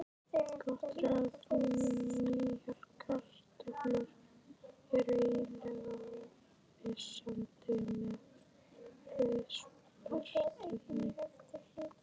Gott ráð: Nýjar kartöflur eru eiginlega ómissandi með rauðsprettunni.